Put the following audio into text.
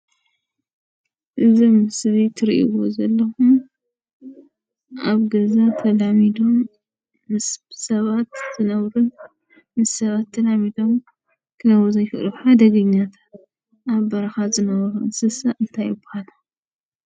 እዚ ምስሊ እትሪአዎ ዘለኹም ኣብ ገዛ ምስ ሰባት ተላሚዶም ክነብሩ ዘይኽእሉ ሓደገኛታት ኣብ በረኻ ዝነብሩ እንስሳ እንታይ ይባሃሉ?